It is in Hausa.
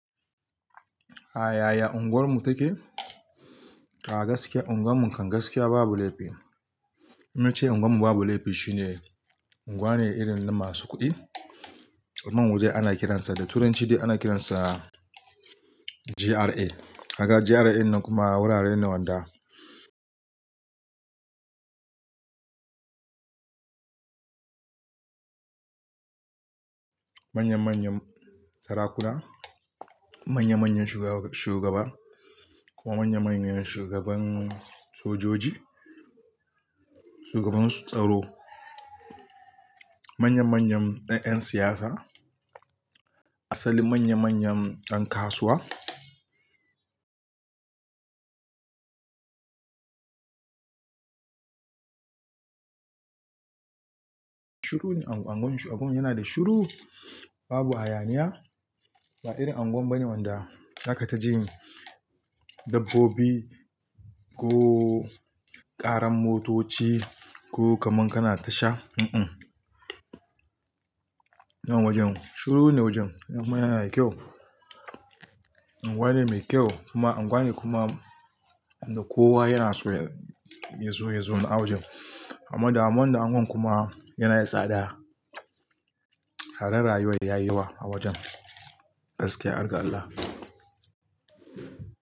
A yaya unguwarmu take? A gaskiya unguwarmu kangaskiya babu laifi. In nace unguwarmu babu laifi shine unguwa ne irin na masu kuɗi. Man waje ana kiransa da Turanci ana kiransa GRA. Haka GRA ɗin nan kuma wurare ne wanda manya manyan sarakuna, manya manyan shugaba, kuma manya manyan shugaban sojoji, shugaban su tsaro, manya manyan ɗan ƴan siyasa, asali manya manyan ɗan kasuwa. Shuru unguwan abun yana da shuru babu ayaniya. Ba irin unguwa bane wanda za ka taji dabbobi ko ƙaran motoci ko kaman kana tasha. Mm mm. Nan wajen shuru ne wajen kuma yana da kyau. Unguwa ne mai kyau kuma unguwa ne kuma inda kowa yana so ya zo yazon a wajen. Amma damuwa damuwan kuma yana da tsada. Tsadar rayuwar de yayi yawa a wajen gaskiya, alƙar Allah.